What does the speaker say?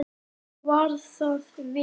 Var það vel.